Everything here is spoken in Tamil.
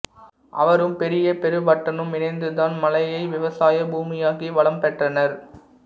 அவரும் பெரிய பெருவட்டனும் இணைந்துதான் மலையை விவசாய பூமியாக்கி வளம் பெற்றனர்